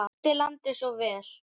Hann þekkti landið svo vel.